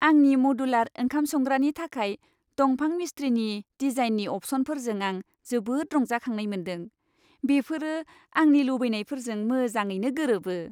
आंनि मडुलार ओंखाम संग्रानि थाखाय दंफां मिसट्रिनि डिजाइननि अपशनफोरजों आं जोबोद रंजाखांनाय मोनदों। बेफोरो आंनि लुबैनायफोरजों मोजाङैनो गोरोबो।